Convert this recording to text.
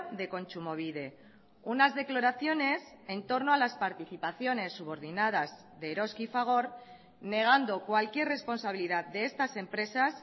de kontsumobide unas declaraciones en torno a las participaciones subordinadas de eroski y fagor negando cualquier responsabilidad de estas empresas